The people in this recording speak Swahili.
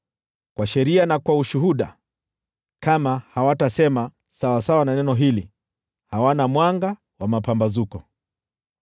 Kwa sheria na kwa ushuhuda! Kama hawatasema sawasawa na neno hili, hawana mwanga wa mapambazuko.